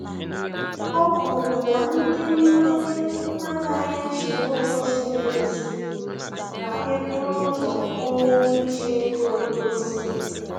O kwuru na ndị mmanye anaghị eso ụzọ ziri ezi ma e buru ụzọ kwuo okwu iji ego edozi